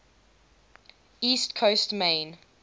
east coast maine